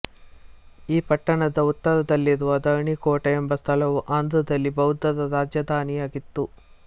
ಈ ಪಟ್ಟಣದ ಉತ್ತರದಲ್ಲಿರುವ ಧರಣಿಕೋಟ ಎಂಬ ಸ್ಥಳವು ಆಂಧ್ರದಲ್ಲಿ ಬೌದ್ಧರ ರಾಜಧಾನಿಯಾಗಿತ್ತು